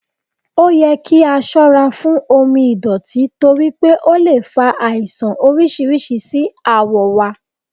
Oyẹ ki a sọra fun omi ìdọ̀tí toripe o le fa aisan oriṣiriṣi si awọ wa